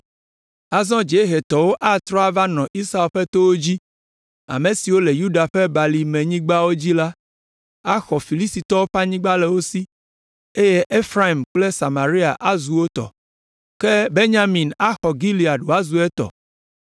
Azɔ dziehetɔwo atrɔ ava nɔ Esau ƒe towo dzi, ame siwo le Yuda ƒe balimenyigba dzi la axɔ Filistitɔwo ƒe anyigba le wo si eye Efraim kple Samaria azu wo tɔ. Ke Benyamin axɔ Gilead wòazu etɔ.